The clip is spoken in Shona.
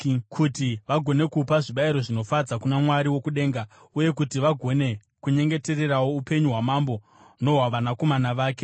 kuti vagone kupa zvibayiro zvinofadza kuna Mwari wokudenga uye kuti vagone kunyengetererawo upenyu hwamambo nohwavanakomana vake.